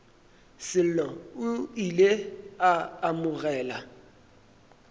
sello o ile a amogela